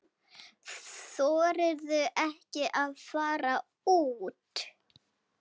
Þorirðu ekki að fara úr?